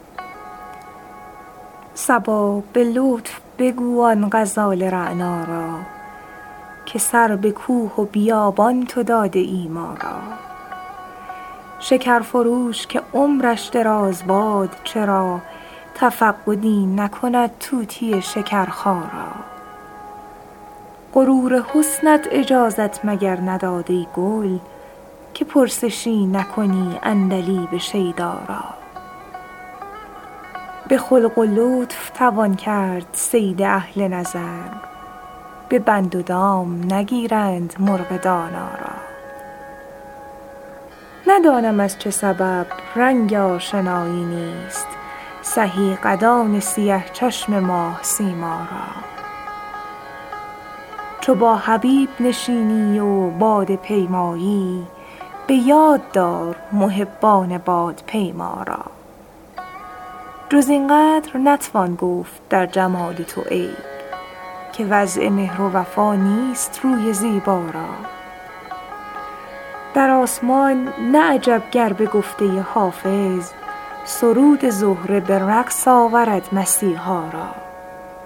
صبا به لطف بگو آن غزال رعنا را که سر به کوه و بیابان تو داده ای ما را شکر فروش که عمرش دراز باد چرا تفقدی نکند طوطی شکرخا را غرور حسنت اجازت مگر نداد ای گل که پرسشی نکنی عندلیب شیدا را به خلق و لطف توان کرد صید اهل نظر به بند و دام نگیرند مرغ دانا را ندانم از چه سبب رنگ آشنایی نیست سهی قدان سیه چشم ماه سیما را چو با حبیب نشینی و باده پیمایی به یاد دار محبان بادپیما را جز این قدر نتوان گفت در جمال تو عیب که وضع مهر و وفا نیست روی زیبا را در آسمان نه عجب گر به گفته حافظ سرود زهره به رقص آورد مسیحا را